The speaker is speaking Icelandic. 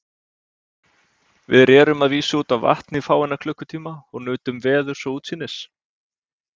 Við rerum að vísu út á vatn í fáeina klukkutíma og nutum veðurs og útsýnis.